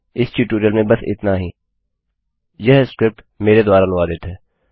इस ट्यूटोरियल में बस इतना ही है